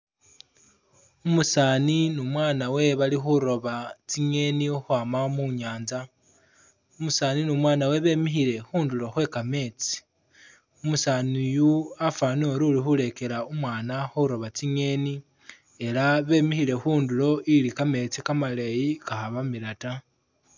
Umusaani ni umwana we bali khuroba tsingeni ukhwama mu nyanza. Umusaani ni umwana we bemikhile khundulo khwe kameetsi. Umusaani uyu wafwanile uri uli khulekela umwana khuroba tsingeni ela bemikhile khundulo ili kameetsi kamaleyi kakhabamila ta.